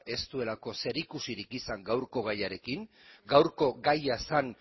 ez duelako zerikusirik izan gaurko gaiarekin gaurko gaia zen